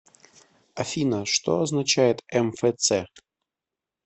афина что означает мфц